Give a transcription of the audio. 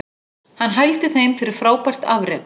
Hann hældi þeim fyrir frábært afrek